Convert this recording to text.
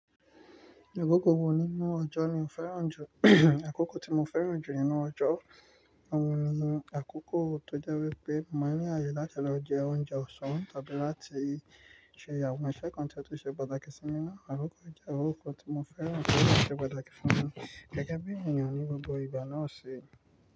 Àkókò wo nínú ọjọ́ ni o fẹ́ràn jù? Àkókò tí mo fẹ́ràn jù nínú ọjọ́, òun ni àkókò tó jẹ́ wípé mo ní àyè láti lọ jẹ oúnjẹ ọ̀sán tàbí láti ṣe àwọn iṣẹ́ kan tí ó ṣe pàtàkì sí mi. Àkókò ìjẹun òkò tí mo fẹ́ràn kì í ṣe pàtàkì fún mi gẹ́gẹ́ bí èèyàn ní gbogbo ìgbà náà ṣe.